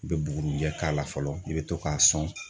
I bɛ bugurinjɛ k'a la fɔlɔ i bɛ to k'a sɔn.